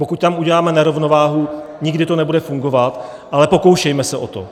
Pokud tam uděláme nerovnováhu, nikdy to nebude fungovat, ale pokoušejme se o to.